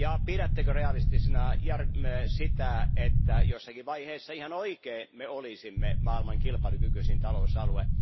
Pidättekö realistisena sitä, että jossakin vaiheessa todellakin olisimme maailman kilpailukykyisin talousalue?